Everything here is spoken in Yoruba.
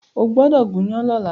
Ó gbọ́dọ̀ gúnyán lọ́la!